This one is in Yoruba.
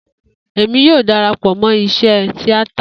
Emi yoo darapọ mọ iṣe tiata